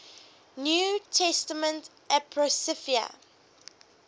new testament apocrypha